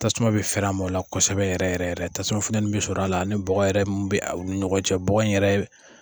Tasuma bi fɛrɛ a m'o la kosɛbɛ yɛrɛ tasuma futɛni bi sɔrɔ a la ani bɔgɔ yɛrɛ mun bi u ni ɲɔgɔn cɛ, bɔgɔ in yɛrɛ